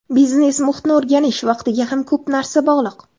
Biznes muhitni o‘rganish vaqtiga ham ko‘p narsa bog‘liq.